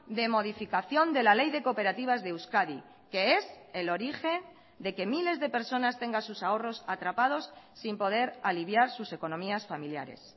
de modificación de la ley de cooperativas de euskadi que es el origen de que miles de personas tengan sus ahorros atrapados sin poder aliviar sus economías familiares